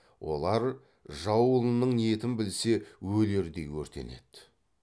олар жау ұлының ниетін білсе өлердей өртенеді